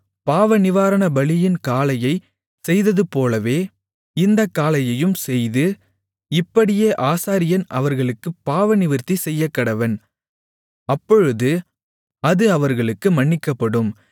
பாவநிவாரணபலியின் காளையைச் செய்ததுபோலவே இந்தக் காளையையும் செய்து இப்படியே ஆசாரியன் அவர்களுக்குப் பாவநிவிர்த்தி செய்யக்கடவன் அப்பொழுது அது அவர்களுக்கு மன்னிக்கப்படும்